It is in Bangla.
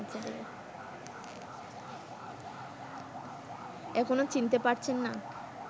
এখনো চিনতে পারছেন না